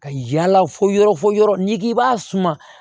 Ka yaala fo yɔrɔ fɔ yɔrɔ n'i k'i b'a suma